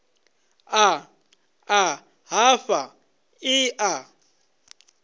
ḽa ḓa hafha ḽi a